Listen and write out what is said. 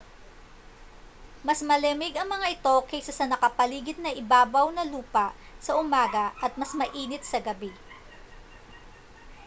mas malamig ang mga ito kaysa sa nakapaligid na ibabaw ng lupa sa umaga at mas mainit sa gabi